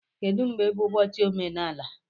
Kedu mgbe bụ ụbọchị omenala?